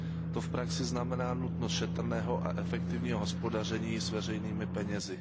To v praxi znamená nutnost šetrného a efektivního hospodaření s veřejnými penězi.